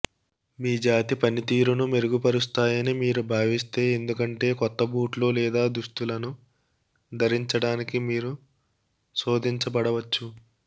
మీ జాతి పనితీరును మెరుగుపరుస్తాయని మీరు భావిస్తే ఎందుకంటే కొత్త బూట్లు లేదా దుస్తులను ధరించడానికి మీరు శోదించబడవచ్చు